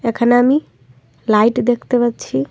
এখানে আমি লাইট দেখতে পাচ্ছি।